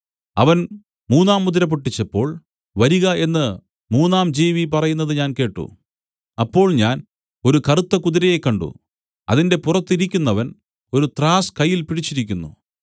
അവൻ മൂന്നാം മുദ്ര പൊട്ടിച്ചപ്പോൾ വരിക എന്നു മൂന്നാം ജീവി പറയുന്നത് ഞാൻ കേട്ട് അപ്പോൾ ഞാൻ ഒരു കറുത്ത കുതിരയെ കണ്ട് അതിന്റെ പുറത്ത് ഇരിക്കുന്നവൻ ഒരു ത്രാസ് കയ്യിൽ പിടിച്ചിരുന്നു